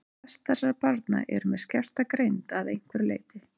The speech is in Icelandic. Flest þessara barna eru með skerta greind að einhverju leyti.